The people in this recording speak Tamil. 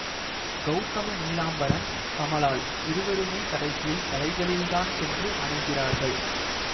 கௌதம நீலாம்பரன் கமால் இருவருமே கடைசியில் கலைகளில் தான் சென்று அணைகிறார்கள்